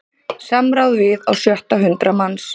Samráð við á sjötta hundrað manns